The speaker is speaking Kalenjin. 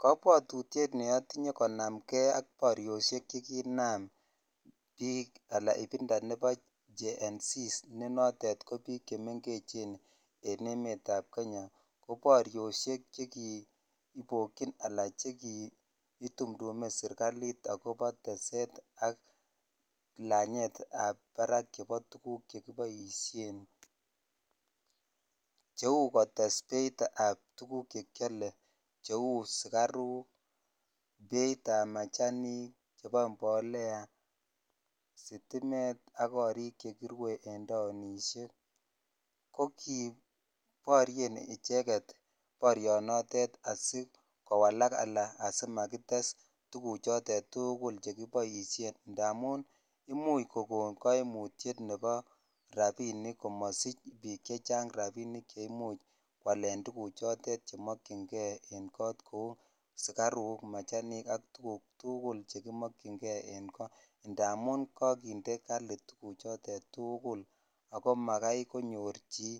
Kobwotutiet neootinye konamke ak boriioshek chekinam biik anan ibinda nebo GEN-Z nenotet kobiik chemengechen en emetab kenya koborioshek chekibokyin alaan itumndume serikalit akobo teset ak lanyetab barak chebo tukuk chekiboishen cheuu kotes beitab tukuk chekiole cheuu sukaruk beitab machanik chebo mbolea, sitimet ak korik chekirwe en taonishek, ko kii borien icheket borionotet asikowalak alaan simakites tukuchotet tukul chekiboishen ndamun imuch kokon koimutiet nebo rabinik komosich biik chechang rabinik cheimuch kwaalen tukuchotet chemokyinge en koot kouu sikaruk machanik ak tukuk tukul chekimokyinge en koot amun kokinde tukuchotet kali tukul ak ko makai konyor chii